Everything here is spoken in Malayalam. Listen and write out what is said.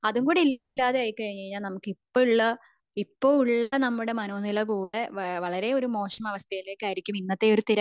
അതുകൂടി ഇല്ലാതായി കഴിഞ്ഞു കഴിഞ്ഞാൽ നമുക് ഇപ്പോ ഉള്ള നമ്മുടെ മനോ നില കൂടെ വളരെ ഒരു മോശം അവസ്ഥയിലേക്കായിരിക്കും